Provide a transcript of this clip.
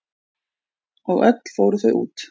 Og öll fóru þau út.